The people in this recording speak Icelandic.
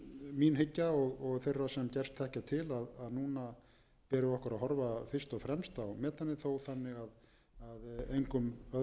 mín hyggja og þeirra sem gerst þekkja til að núna ber okkur að horfa fyrst og fremst á metanið þó þannig að engum öðrum dyrum sé